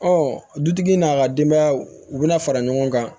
dutigi n'a ka denbayaw u bɛna fara ɲɔgɔn kan